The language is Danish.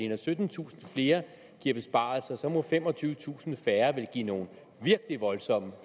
når syttentusind flere giver besparelser så må femogtyvetusind færre vel give nogle virkelige voldsomme